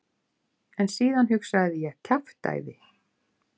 En síðan hugsaði ég: kjaftæði.